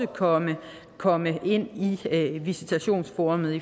komme komme ind i visitationsforummet